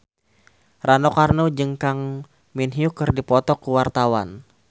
Rano Karno jeung Kang Min Hyuk keur dipoto ku wartawan